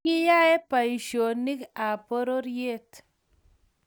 Kiyae boishonik ab pororiet